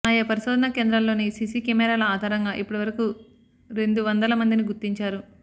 ఆయా పరిశోధనా కేంద్రాల్లోని సీసీ కెమెరాల ఆధారంగా ఇప్పటి వరకు రెందు వందల మందిని గుర్తించారు